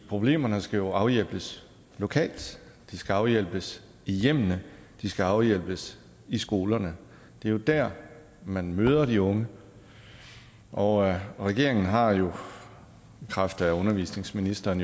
problemerne skal jo afhjælpes lokalt de skal afhjælpes i hjemmene de skal afhjælpes i skolerne det er der man møder de unge og regeringen har jo i kraft af undervisningsministeren